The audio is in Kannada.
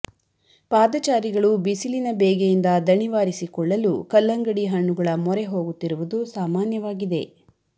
ಪಾದಚಾರಿಗಳು ಬಿಸಿಲಿನ ಬೇಗೆಯಿಂದ ದಣಿವಾರಿಸಿಕೊಳ್ಳಲು ಕಲ್ಲಂಗಡಿ ಹಣ್ಣುಗಳ ಮೊರೆ ಹೋಗುತ್ತಿರುವುದು ಸಾಮಾನ್ಯವಾಗಿದೆ